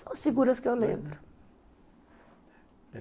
São as figuras que eu lembro.